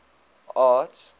art